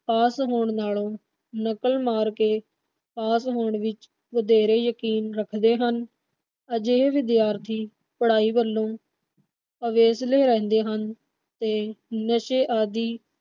ਪਾਸ ਹੋਣ ਨਾਲੋ ਨਕਲ ਮਾਰ ਕੇ ਪਾਸ ਹੋਣ ਵਿਚ ਵਧੇਰੇ ਯਕੀਨ ਰੱਖਦੇ ਹਨ। ਅਜਿਹੇ ਵਿਦਿਆਰਥੀ ਪੜਾਈ ਵਲੋਂ ਅਵੇਸਲੇ ਰਹਿੰਦੇ ਹਨ ਤੇ ਨਸ਼ੇ ਆਦੀ